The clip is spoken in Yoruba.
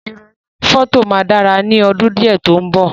Ìròyìn oni fọto máa dára ni ọdún diẹ ti o mbọ.